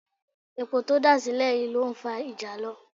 Epo tó dà sílẹ̀ yìí ló ń fa ìjàlọ